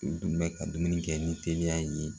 U dun bɛ ka dumuni kɛ ni teliya ye.